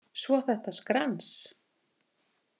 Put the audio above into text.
Svo þetta skrans.